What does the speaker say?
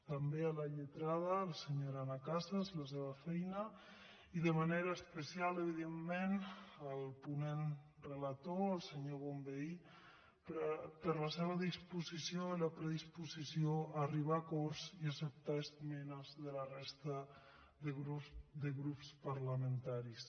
també a la lletrada la senyora anna casas la seva feina i de manera especial evidentment al ponent relator al senyor bonvehí per la seva disposició i la predisposició a arribar a acords i a acceptar esmenes de la resta de grups parlamentaris